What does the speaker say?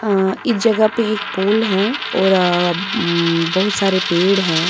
अ इस जगह पे एक पूल है और अ हम्म बहुत सारे पेड़ हैं।